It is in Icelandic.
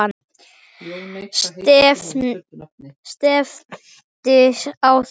Stefndi á þau.